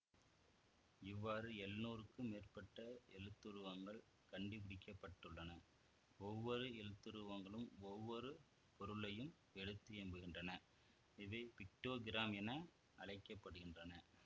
இவ்வாறு எழுநூறுக்கும் மேற்பட்ட எழுத்துருவங்கள் கண்டுபிடிக்க பட்டுள்ளன ஒவ்வொரு எழுத்துருவங்களும் ஒவ்வொரு பொருளையும் எடுத்தியம்புகின்றன இவை பிக்டோகிராம் என அழைக்க படுகின்றன